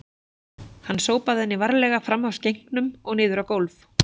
Hann sópaði henni varlega fram af skenknum og niður á gólf